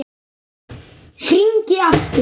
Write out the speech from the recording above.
Hringi aftur!